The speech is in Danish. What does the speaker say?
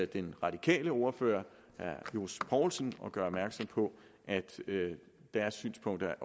den radikale ordfører herre johs poulsen og gøre opmærksom på at deres synspunkter